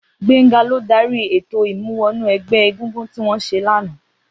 Gbenga ló dàrí étó imú wọnú ẹgbẹ égúngún tiwọn ṣé làná